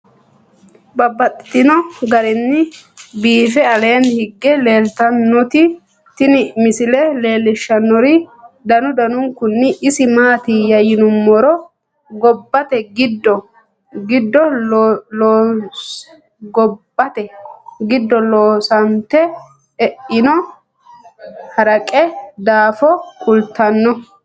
Babaxxittinno garinni biiffe aleenni hige leelittannotti tinni misile lelishshanori danu danunkunni isi maattiya yinummoro gobbatte giddo loosannite eanno haraqe daaffo kulittanno